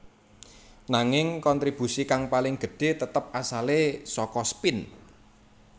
Nanging kontribusi kang paling gedhé tetep asalé saka spin